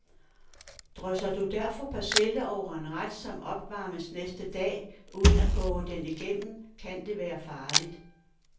Drysser du derfor persille over en ret, som opvarmes næste dag, uden at koge den igennem, kan det være farligt.